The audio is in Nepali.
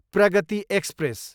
प्रगति एक्सप्रेस